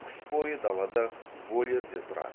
қыс бойы далада вольерде тұрады